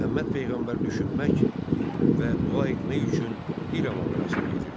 Məhəmməd peyğəmbər düşünmək və dua etmək üçün Hira mağarasına gedirdi.